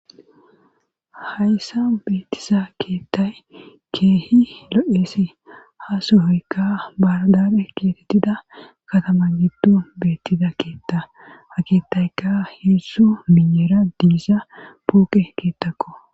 hayssa beetisa keettay keehi lo'esi ha sohoykka bahir dare keetettida katama giddo beettiza keetta ha keettayka heessu miyeera diisa pooqe keettakko